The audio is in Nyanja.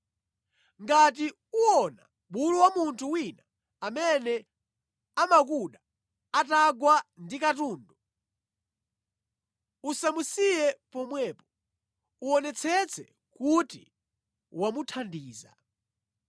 Ngati uwona bulu wa munthu wina amene amakuda atagwa ndi katundu, usamusiye pomwepo, uwonetsetse kuti wamuthandiza.